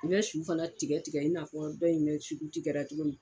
N bɛ su fana tigɛ tigɛ i n'a fɔ dɔ in bɛ kɛra cogo min